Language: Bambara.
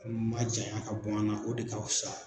a bɛ majanya ka bɔ an na o de ka fisa.